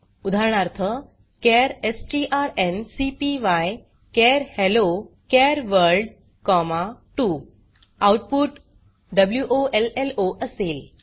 उदाहरणार्थ चार strncpyचार हेल्लो चार वर्ल्ड 2 आउटपुट वोलो असेल